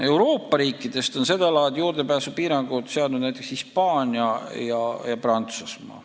Euroopa riikidest on seda laadi juurdepääsupiirangud seadnud näiteks Hispaania ja Prantsusmaa.